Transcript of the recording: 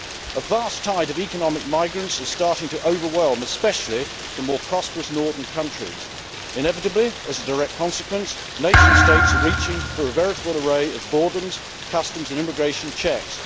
A vast tide of economic migrants is starting to overwhelm especially the more prosperous northern countries. Inevitably, as a direct consequence, nation states are reaching for a veritable array of borders, customs and immigration checks.